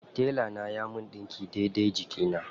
Tela na yana min ɗinki daidai jikina.